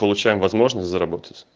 получаем возможность заработать